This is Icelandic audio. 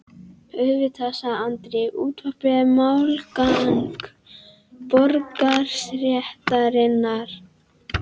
Auðvitað, sagði Andri, útvarpið er málgagn borgarastéttarinnar.